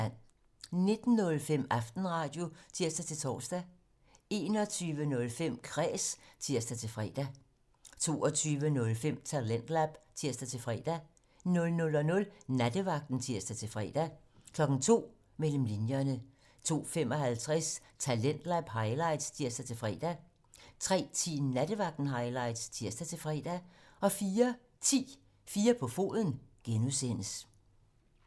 19:05: Aftenradio (tir-tor) 21:05: Kræs (tir-fre) 22:05: Talentlab (tir-fre) 00:00: Nattevagten (tir-fre) 02:00: Mellem linjerne 02:55: Talentlab highlights (tir-fre) 03:10: Nattevagten Highlights (tir-fre) 04:10: 4 på foden (G)